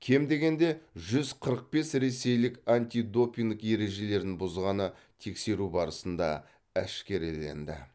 кем дегенде жүз қырық бес ресейлік антидопинг ережелерін бұзғаны тексеру барысында әшкереленді